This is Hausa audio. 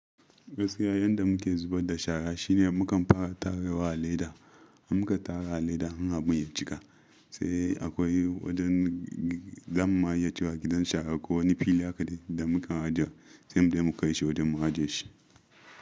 Gaskiya yanda muke zubar da shara shine mukan fara tara wa a leda, an muka tara a leda har abun ya cika, sai akwai wajen za mu maye cika gidan shara ko wani fili haka ne da muke ajiwa, sai mu kai shi wajen mu ajiye shi.